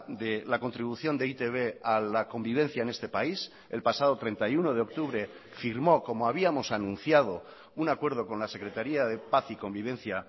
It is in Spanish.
de la contribución de e i te be a la convivencia en este país el pasado treinta y uno de octubre firmó como habíamos anunciado un acuerdo con la secretaría de paz y convivencia